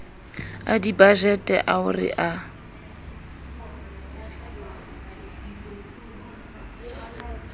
a dibajete ao re a